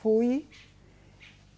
Fui.